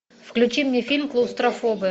включи мне фильм клаустрофобы